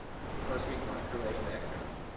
cosmic microwave background